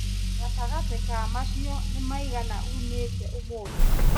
Gatagatĩ ka macio nĩ maigana unĩte ũmũthĩ